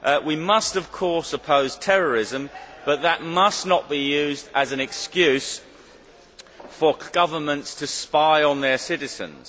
We must of course oppose terrorism but that must not be used as an excuse for governments to spy on their citizens.